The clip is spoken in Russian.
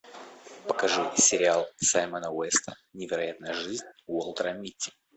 покажи сериал саймона уэста невероятная жизнь уолтера митти